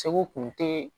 Segu kun te